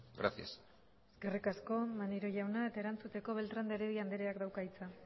gracias eskerrik asko maneiro jauna eta erantzuteko beltrán de heredia andreak dauka hitza